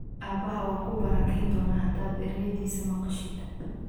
Aabbahaa waa ku barakayn doonaa haddaad erayadiisa maqashid.